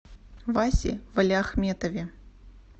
васе валиахметове